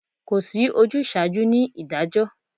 Kò sí ojúsaajú ni ìdájọ́